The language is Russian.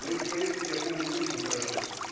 ну эти поездки я помню очень хорошо